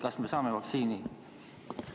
Kas me saame vaktsiini?